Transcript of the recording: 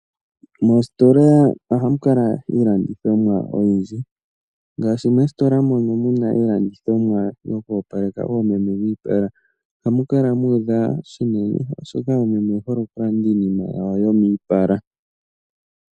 Moositola oha mu kala iilandithomwa oyindji. Ngaashi moositola mono muna iilandithomwa yoku opaleka oomeme miipala, ohamu kala mu udha shinene oshika oomeme oye hole oku landa iinima yawo yomiipala.